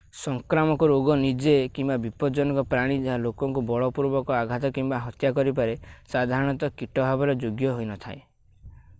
ସଂକ୍ରାମକ ରୋଗ ନିଜେ କିମ୍ବା ବିପଜ୍ଜନକ ପ୍ରାଣୀ ଯାହା ଲୋକଙ୍କୁ ବଳପୂର୍ବକ ଆଘାତ କିମ୍ବା ହତ୍ୟା କରିପାରେ ସାଧାରଣତଃ କୀଟ ଭାବରେ ଯୋଗ୍ୟ ହୋଇନଥାଏ